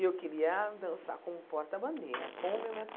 E eu queria dançar com o porta-bandeira, com o meu mestre